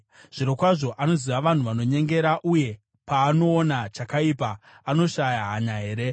Zvirokwazvo anoziva vanhu vanonyengera; uye paanoona chakaipa, anoshaya hanya here?